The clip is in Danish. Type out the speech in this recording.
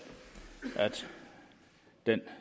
den